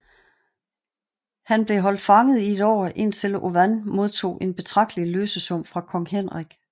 Han blev holdt fanget i et år indtil Owain modtog en betragtelig løsesum fra kong Henrik